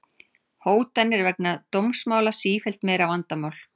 Hótanir vegna dómsmála sífellt meira vandamál